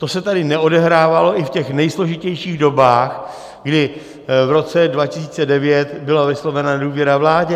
To se tady neodehrávalo ani v těch nejsložitějších dobách, kdy v roce 2009 byla vyslovena nedůvěra vládě.